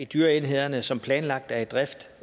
dyreenhederne som planlagt er i drift